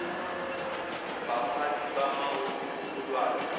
baphathi bamahhovisi olwazi